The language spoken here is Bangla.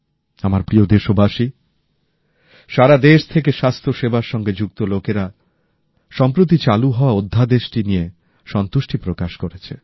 আমার প্রিয় দেশবাসী সারাদেশ থেকে স্বাস্থ্যসেবার সঙ্গে যুক্ত ব্যক্তিরা সম্প্রতি চালু হওয়া অধ্যাদেশটি নিয়ে সন্তোষ প্রকাশ করেছেন